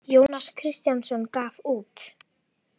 Jónas Kristjánsson gaf út.